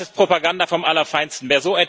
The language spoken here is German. Das ist Propaganda vom Allerfeinsten!